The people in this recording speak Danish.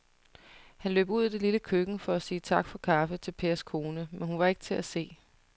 Han løb ud i det lille køkken for at sige tak for kaffe til Pers kone, men hun var ikke til at se.